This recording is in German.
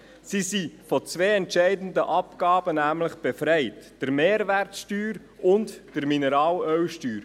Sie sind nämlich von zwei entscheidenden Abgaben befreit: von der Mehrwertsteuer und von der Mineralölsteuer.